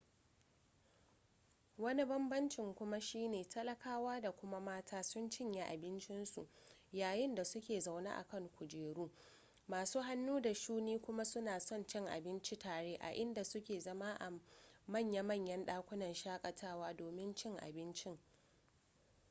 wani banbamcin kuma shi ne talakawa da kuma mata sun cinye abincinsu yayin da suke zaune a kan kujeru masu hannu da shuni kuma suna son cin abinci tare a inda suke zama a manya-manyan dakunan shakatawa domin cin abincin